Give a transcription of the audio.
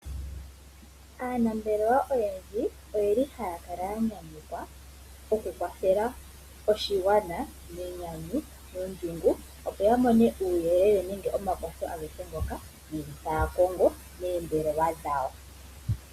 Aanambelelwa oyendji oyeli haya kala ya nyanyukwa oku kwathela oshigwana , nenyanyu nondjungu opo ya mone uuyelele nenge omakwatho agehe ngoka yeli taakongo meembelewa dhawo.